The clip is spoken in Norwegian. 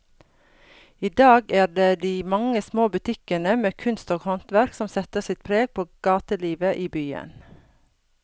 I dag er det de mange små butikkene med kunst og håndverk som setter sitt preg på gatelivet i byen.